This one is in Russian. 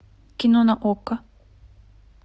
кино на окко